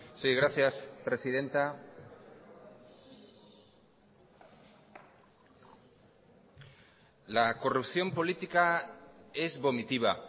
sí gracias presidenta la corrupción política es vomitiva